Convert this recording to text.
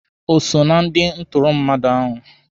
O so na ndị ntụrụ mmadụ ahụ.